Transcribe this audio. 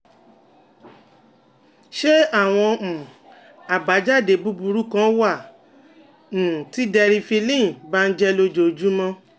Ṣé àwọn um àbájáde búburú kan wà um tí Deriphyllin bá ń jẹ́ lójoojúmọ́?